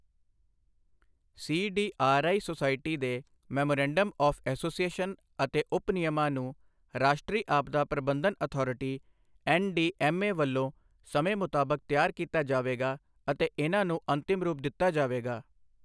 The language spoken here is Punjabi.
ਸੀਡੀਆਰਆਈ ਸੁਸਾਇਟੀ ਦੇ ਮੈਮੋਰੈਂਡਮ ਆਵ੍ ਐਸੋਸੀਏਸ਼ਨ ਅਤੇ ਉਪਨਿਯਮਾਂ ਨੂੰ ਰਾਸ਼ਟਰੀ ਆਪਦਾ ਪ੍ਰਬੰਧਨ ਅਥਾਰਟੀ ਐੱਨਡੀਐੱਮਏ ਵੱਲੋਂ ਸਮੇਂ ਮੁਤਾਬਕ ਤਿਆਰ ਕੀਤਾ ਜਾਵੇਗਾ ਅਤੇ ਇਨ੍ਹਾਂ ਨੂੰ ਅੰਤਿਮ ਰੂਪ ਦਿੱਤਾ ਜਾਵੇਗਾ।